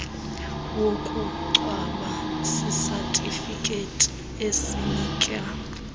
wokungcwaba sisatifiketi esinika